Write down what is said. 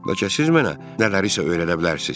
Bəlkə siz mənə nələrisə öyrədə bilərsiz?